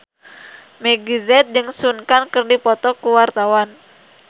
Meggie Z jeung Sun Kang keur dipoto ku wartawan